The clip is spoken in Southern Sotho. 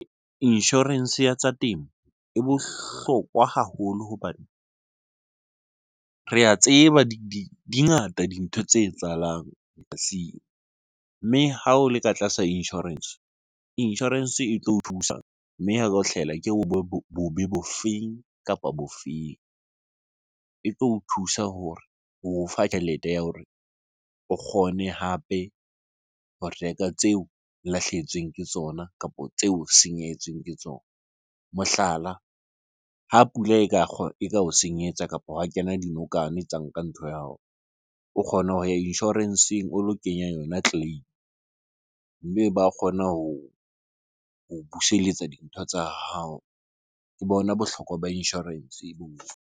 Insurance ya tsa temo e bohlokwa haholo hobane re a tseba di ngata dintho tse etsahalang polasing. Mme ha o le ka tlasa insurance, insurance e tlo o thusa mme ha hlahelwa ke bobe bo feng kapa bofeng? E tlo o thusa hore ho o fa tjhelete ya hore o kgone hape ho reka tseo lahlehetsweng ke tsona kapo tseo o senyehetsweng ke tsona. Mohlala, ha pula e ka eka o senyetsa kapo ha wa kena dinokwane tsa nka ntho ya hao. O kgona ho ya insurance-eng o lo kenya yona claim-e, mme ba kgona ho buseletsa dintho tsa hao. Ke bona bohlokwa ba insurance boo.